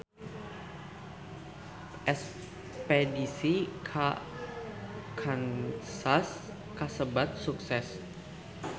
Espedisi ka Kansas kasebat sukses